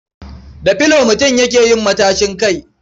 Da filo mutum yake yin matashin kai.